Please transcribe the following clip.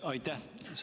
Aitäh!